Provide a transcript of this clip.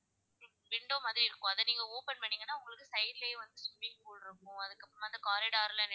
Window மாதிரி இருக்கும் அத நீங்க open பன்னுனிங்கனா உங்களுக்கு side லையே வந்து swimming pool இருக்கும் அதுக்கு அப்பறமா அந்த corridor ல,